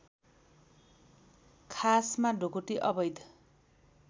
खासमा ढुकुटी अवैध